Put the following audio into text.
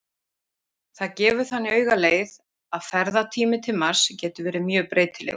Það gefur þannig augaleið að ferðatími til Mars getur verið mjög breytilegur.